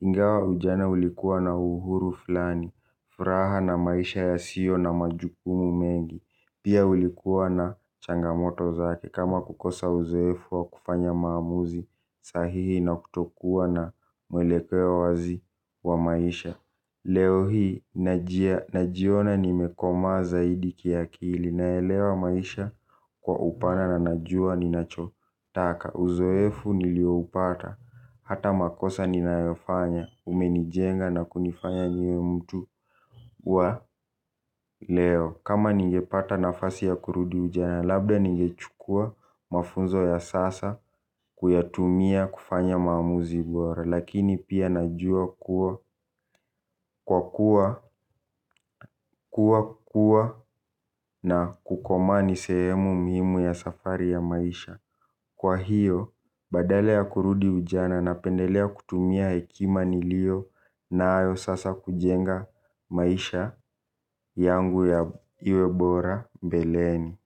Ingawa ujana ulikuwa na uhuru fulani, furaha na maisha yasio na majukumu mengi. Pia ulikuwa na changa moto zake kama kukosa uzoefu wa kufanya maamuzi sahihi na kuto kuwa na mwelekeo wazi wa maisha. Leo hii najiona nimekoma zaidi kiakili naelewa maisha kwa upana na najua ninacho taka. Uzoefu nilio upata hata makosa ninayofanya umenijenga na kunifanya niwe mtu wa leo. Kama ningepata nafasi ya kurudu ujana labda ningechukua mafunzo ya sasa kuyatumia kufanya maamuzi bora. Lakini pia najua kuwa kwa kuwa kuwa kuwa na kukomaa ni sehemu muhimu ya safari ya maisha. Kwa hiyo badala ya kurudi ujana napendelea kutumia hekima nilio nayo sasa kujenga maisha yangu ya iwe bora mbeleni.